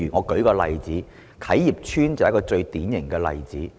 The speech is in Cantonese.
舉例來說，啟業邨便是最典型的例子。